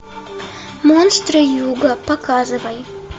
монстры юга показывай